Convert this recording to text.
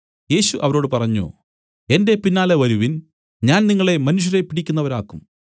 യേശു അവരോട് പറഞ്ഞു എന്റെ പിന്നാലെ വരുവിൻ ഞാൻ നിങ്ങളെ മനുഷ്യരെ പിടിക്കുന്നവരാക്കും